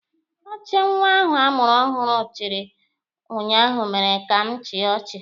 Ọchị nwa ahụ a mụrụ ọhụrụ chịrị ụnyaahụ mere ka m chịa ọchị.